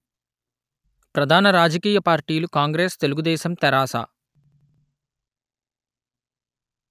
ప్రధాన రాజకీయ పార్టీలు కాంగ్రెస్ తెలుగు దేశం తెరాస